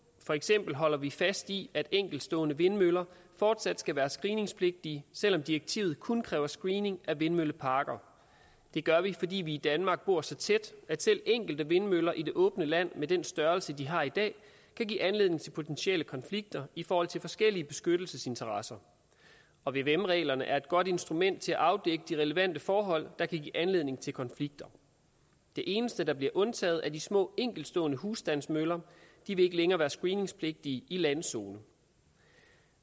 for eksempel holder vi fast i at enkeltstående vindmøller fortsat skal være screeningspligtige selv om direktivet kun kræver screening af vindmølleparker det gør vi fordi vi i danmark bor så tæt at selv enkelte vindmøller i det åbne land med den størrelse de har i dag kan give anledning til potentielle konflikter i forhold til forskellige beskyttelsesinteresser og vvm reglerne er et godt instrument til at afdække de relevante forhold der kan give anledning til konflikter de eneste der bliver undtaget er de små enkeltstående husstandsmøller de vil ikke længere være screeningspligtige i landzone